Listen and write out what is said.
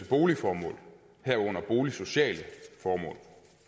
boligformål herunder boligsociale formål